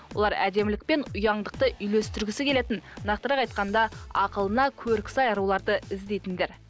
олар әдемілік пен ұяңдықты үйлестіргісі келетін нақтырақ айтқанда ақылына көркі сай аруларды іздейтіндер